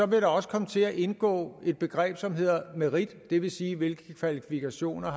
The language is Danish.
der også komme til at indgå et begreb som hedder merit det vil sige hvilke kvalifikationer